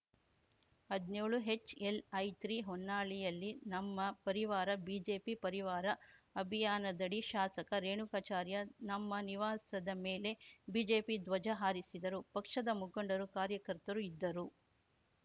ಹದ್ನ್ಯೋಳು ಎಚ್‌ಎಲ್‌ಐತ್ರಿ ಹೊನ್ನಾಳಿಯಲ್ಲಿ ನಮ್ಮ ಪರಿವಾರ ಬಿಜೆಪಿ ಪರಿವಾರ ಅಭಿಯಾನದಡಿ ಶಾಸಕ ರೇಣುಕಾಚಾರ್ಯ ನಮ್ಮ ನಿವಾಸದ ಮೇಲೆ ಬಿಜೆಪಿ ಧ್ವಜ ಹಾರಿಸಿದರು ಪಕ್ಷದ ಮುಖಂಡರು ಕಾರ್ಯಕರ್ತರು ಇದ್ದರು